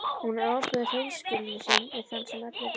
Honum ofbauð hreinskilni sín við þann sem öllu réði.